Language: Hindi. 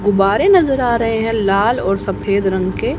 गुब्बारे नजर आ रहे हैं लाल और सफेद रंग के--